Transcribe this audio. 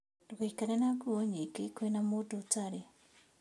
Ndũgaikare na nguo nyingĩ kwĩna mũndũ ũtarĩ